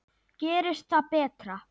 Gerist það betra.